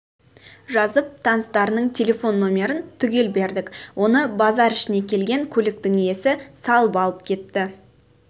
жазып таныстарының телефон нөмірін түгел бердік оны базар ішіне келген көліктің иесі салып алып кетті